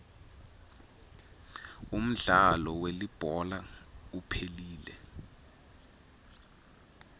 umdlalo welibhola uphelile